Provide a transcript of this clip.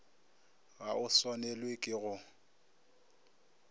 ga o swanelwe ke go